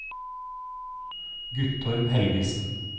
Guttorm Helgesen